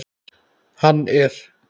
Hann er.